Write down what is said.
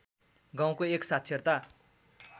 गाउँको एक साक्षरता